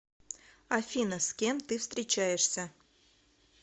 афина с кем ты встречаешься